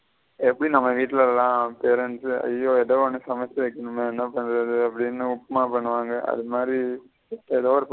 எப்டி நம்ம வீட்டுல்ல அய்யோ எதோ ஒன்னு சமச்சி வைக்கணுமே என்ன பண்றது அப்டின்னு உப்புமா பனுவங்க அது மாதிரி எதோ ஒரு.